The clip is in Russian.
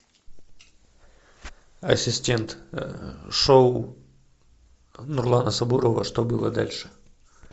ассистент шоу нурлана сабурова что было дальше